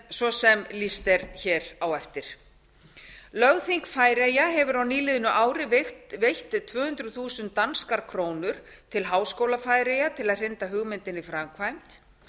svo sem lýst er á eftir lögþing færeyja hefur á nýliðnu ári veitt tvö hundruð þúsund danskar krónur til háskóla færeyja til að hrinda hugmyndinni í framkvæmd